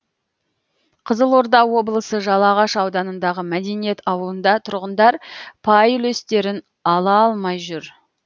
қызылорда облысы жалағаш ауданындағы мәдениет ауылында тұрғындар пай үлестерін ала алмай жүр